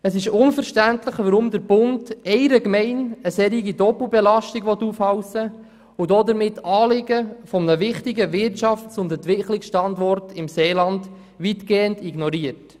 Es ist unverständlich, warum der Bund einer Gemeinde eine solche Doppelbelastung aufhalsen will und damit die Anliegen eines wichtigen Wirtschafts- und Entwicklungsstandorts im Seeland weitgehend ignoriert.